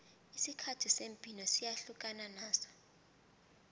isikhathi semibhino siyahlukana naso